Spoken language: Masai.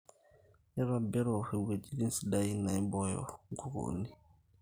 nintobirru ewueji siddai naibooyo inkukunik